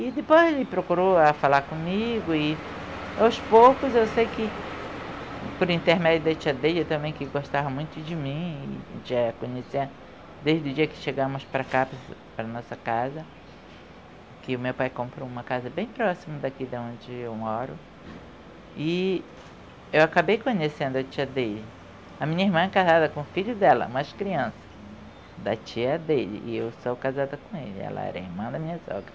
e depois ele procurou para falar comigo e aos poucos eu sei que por intermédio da tia Deya também que gostava muito de mim a gente já ia conhecer desde o dia que chegamos para cá, para nossa casa que o meu pai comprou uma casa bem próximo daqui de onde eu moro e eu acabei conhecendo a tia Deya a minha irmã é casada com o filho dela, mais criança da tia Deya e eu sou casada com ele, ela era irmã da minha sogra